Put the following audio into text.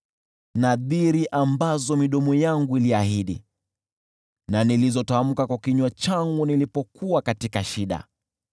nadhiri ambazo midomo yangu iliahidi na nilizotamka kwa kinywa changu nilipokuwa katika shida.